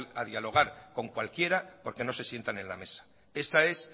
a dialogar con cualquiera porque no se sientan en la mesa esa es